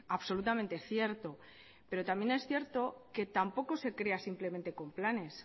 absolutamente cierto pero también es cierto que tampoco se crea simplemente con planes